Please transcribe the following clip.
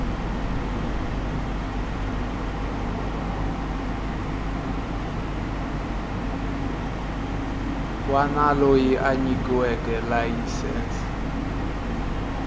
wana loyi a nyikiweke layisense